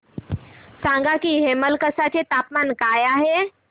सांगा की हेमलकसा चे तापमान काय आहे